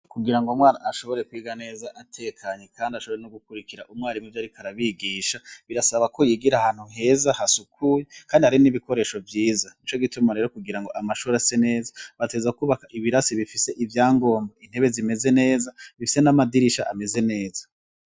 Kugira ngo umwana ashobore kwiga neza atekanye kandi ashobore no gukurikira umwarimu ivyariko arabigisha, birasaba ko yigira ahantu heza hasukuye kandi hari n'ibikoresho vyiza. Nico gituma rero kugira ngo amashure ase neza, bategereza kubaka ibirasi bifise ivyangombwa, intebe zimeze neza bifise n'amadirisha ameze neza.